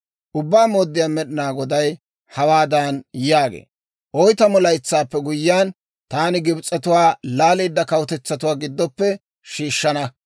« ‹Ubbaa Mooddiyaa Med'inaa Goday hawaadan yaagee; «Oytamu laytsaappe guyyiyaan, taani Gibs'etuwaa laaleedda kawutetsatuwaa giddoppe shiishshana.